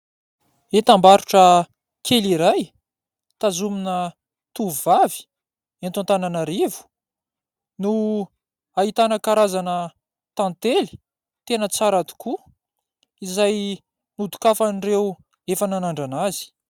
Entam-barotra kely iray tazonina tovovavy eto Antananarivo no ahitana karazana tantely tena tsara tokoa izay ho dokafan'ireo efa nanandrana azy.